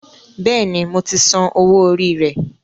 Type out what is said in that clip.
Bẹ́ẹ̀ni, mo ti san owó orí rẹ